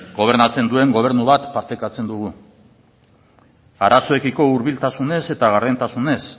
gobernatzen duen gobernu bat partekatzen dugu arazoekiko hurbiltasunez eta gardentasunez